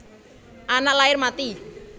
Anak lair mati